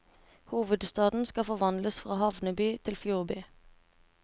Hovedstaden skal forvandles fra havneby til fjordby.